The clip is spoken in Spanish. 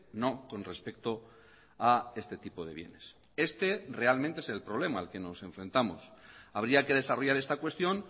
no con respecto a este tipo de bienes este realmente es el problema al que nos enfrentamos habría que desarrollar esta cuestión